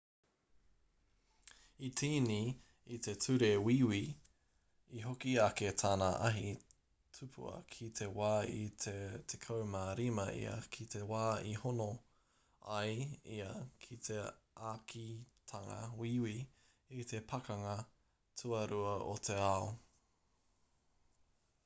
i tīni i te ture wīwi i hoki ake tana ahi tupua ki te wā i te 15 ia ki te wā i hono ai ia ki te ākitanga wīwi i te pakanga tuarua o te ao